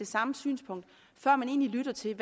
samme synspunkt før man egentlig lytter til